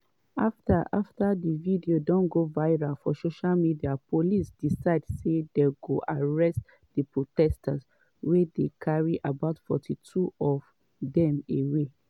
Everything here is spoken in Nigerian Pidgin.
afta afta di video don go viral for social media police decide say dey go arrest di protesters wia dey carry about 42 of dem away.